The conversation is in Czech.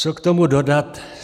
Co k tomu dodat?